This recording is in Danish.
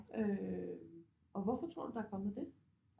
Øh og hvorfor tror du der er kommet det